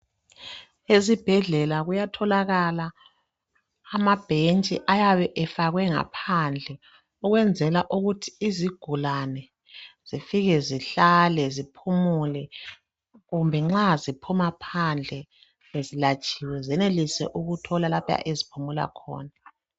Ezibhedlela kuyatholakala amabhentshi ayabe efakwe ngaphandle ukwenzela ukuthi izigulane zifike zihlale ziphumule kumbe nxa ziphuma phandle sezilatshiwe zenelise ukuthola lapho eziphumula khona.